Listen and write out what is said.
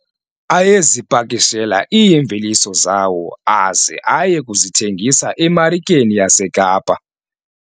Ayezipakishela iimveliso zawo aze aye kuzithengisa emarikeni yaseKapa.